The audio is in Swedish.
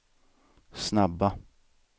snabba